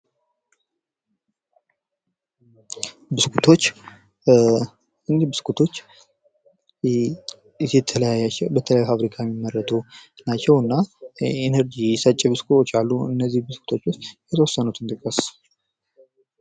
ብስኩቶች፦ እነዚህ ብስኩቶች የተለያዩ ናቸው (በተለያየ ፋብሪካ የሚመረቱ ናቸው) እና ኢነርጂ ሰጭ ብስኩቶች አሉ። ከነዚህ ብስኩቶች ውስጥ የተወሰኑትን ጥቀስ።